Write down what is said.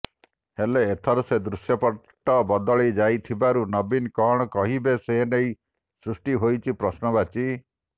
ହେଲେ ଏଥର ସେ ଦୃଶ୍ୟପଟ୍ଟ ବଦଳି ଯାଇଥିବାରୁ ନବୀନ କଣ କହିବେ ସେ ନେଇ ସୃଷ୍ଟି ହୋଇଛି ପ୍ରଶ୍ନବଚୀ